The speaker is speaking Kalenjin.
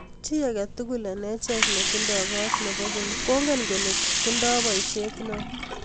chi aketukul eng achek nitindoi koot nebo keny kongen kole nitendenye boiset neo